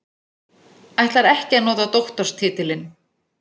Ætlar ekki að nota doktorstitilinn